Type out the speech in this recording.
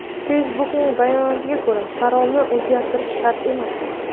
Facebook’ning bayonotia ko‘ra, parolni o‘zgartirish shart emas.